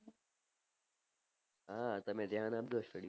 હા તમે ઘ્યાન આપજો study માં